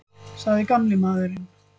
sagði gamli maðurinn.